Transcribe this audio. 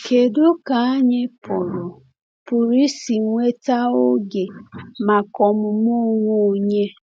Kedu ka anyị pụrụ pụrụ isi nweta oge maka ọmụmụ onwe onye?